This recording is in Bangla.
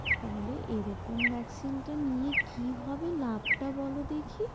তাহলে এরকম Vaccine টা নিয়ে কি হবে লাভটা বলো দেখি?